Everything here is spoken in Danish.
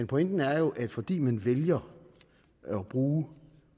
pointen er jo at fordi man vælger at bruge